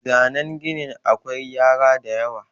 zanen ginin akwai gyara da yawa